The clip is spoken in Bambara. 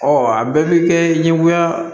a bɛɛ bɛ kɛ ɲɛgoya